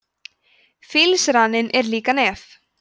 fílsraninn er líka nef